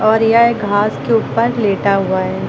और यह एक घास के ऊपर लेटा हुआ है।